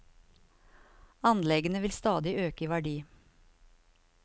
Anleggene vil stadig øke i verdi.